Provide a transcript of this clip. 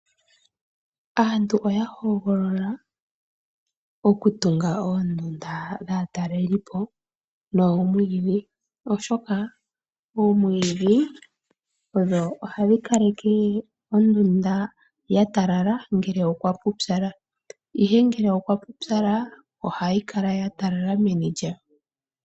Aantu oya golola okutunga oondunda dhaa talelipo nomwidhi oshoka odho hadhi kaleke ondunda yatalala una kuna uupyu.